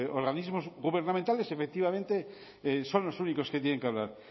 organismos gubernamentales efectivamente son los únicos que tienen que hablar